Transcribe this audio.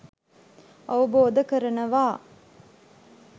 අවබෝධ කරනවා.